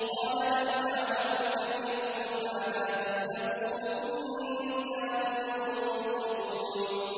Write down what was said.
قَالَ بَلْ فَعَلَهُ كَبِيرُهُمْ هَٰذَا فَاسْأَلُوهُمْ إِن كَانُوا يَنطِقُونَ